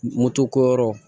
Moto ko yɔrɔ